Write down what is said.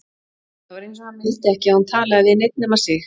Það var eins og hann vildi ekki að hún talaði við neinn nema sig.